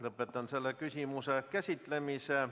Lõpetan selle küsimuse käsitlemise.